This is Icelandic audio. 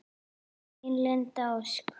Þín, Linda Ósk.